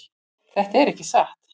Þetta er ekki satt!